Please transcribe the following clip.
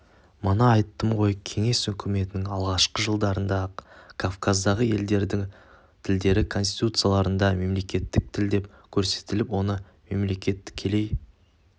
мана айттым ғой кеңес үкіметінің алғашқы жылдарында-ақ кавказдағы елдердің тілдері конституцияларында мемлекеттік тіл деп көрсетіліп оны мемлекет тікелей